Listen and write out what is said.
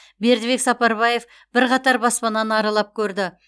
бердібек сапарбаев бірқатар баспананы аралап көрді